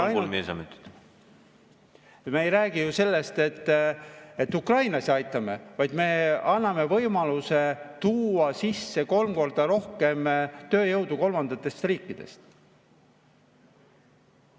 Küsimus on selles, et me ei räägi ju ainult sellest, et me aitame ukrainlasi, vaid me anname võimaluse tuua sisse kolm korda rohkem tööjõudu kolmandatest riikidest.